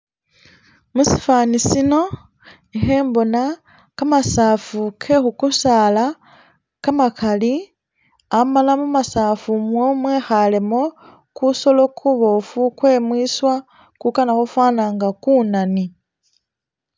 Musifani sino ikhembona kamasafu ke khukusaala kamakaali amala mumasafu mwo mwekhalemo kusolo kubofu kwe'mwiswa kukana khufana nga kunani.